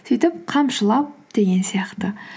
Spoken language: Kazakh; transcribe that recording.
сөйтіп қамшылап деген сияқты